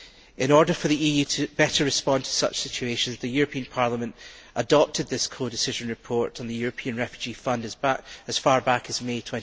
In order for the EU better to respond to such situations, the European Parliament adopted this codecision report on the European Refugee Fund as far back as May